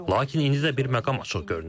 Lakin indi də bir məqam açıq görünür.